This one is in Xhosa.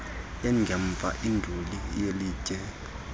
engemva induli yelitye